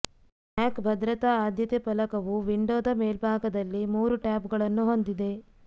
ಮ್ಯಾಕ್ ಭದ್ರತಾ ಆದ್ಯತೆ ಫಲಕವು ವಿಂಡೋದ ಮೇಲ್ಭಾಗದಲ್ಲಿ ಮೂರು ಟ್ಯಾಬ್ಗಳನ್ನು ಹೊಂದಿದೆ